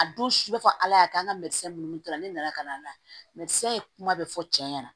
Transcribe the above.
A don su bɛ fɔ ala y'a kɛ an ka minnu ta la ne nana ka na kuma bɛɛ fɔ cɛ ɲɛna